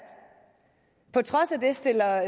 på trods af det stiller